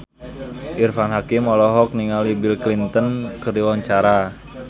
Irfan Hakim olohok ningali Bill Clinton keur diwawancara